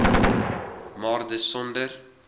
maar dis sonder